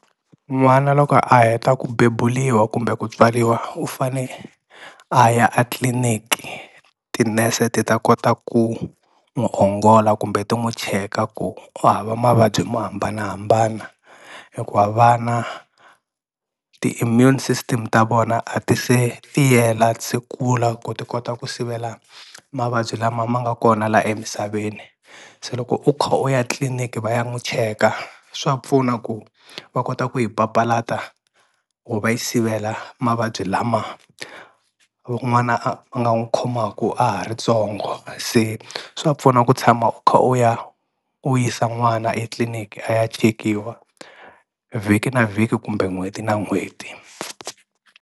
N'wana loko a heta ku bebuliwa kumbe ku tswariwa u fane a ya a tliliniki tinese ti ta kota ku n'wu ongola kumbe ti n'wu cheka ku u hava mavabyi mo hambanahambana hikuva vana ti-immune system ta vona a ti se tiyela a ti se kula ku ti kota ku sivela mavabyi lama ma nga kona la emisaveni. Se loko u kha u ya tliliniki va ya n'wu cheka swa pfuna ku va kota ku yi papalata or va yi sivela mavabyi lama n'wana a a nga n'wu khomaku a ha ri tsongo se swa pfuna ku tshama u kha u ya u yisa n'wana etliliniki a ya chekiwa vhiki na vhiki kumbe n'hweti na n'hweti.